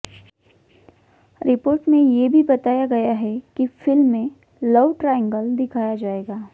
report में ये भी बताया गया है कि फिल्म में लव ट्रायंगल दिखाया जाएगा